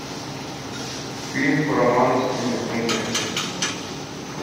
фильм по роману стивена кинга